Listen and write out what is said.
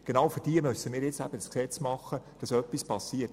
Genau für diese müssen wir das Gesetz machen, damit etwas passiert.